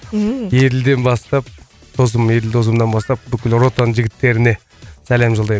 ммм еділден бастап досым еділ досымнан бастап бүкіл ротаның жігіттеріне сәлем жолдаймын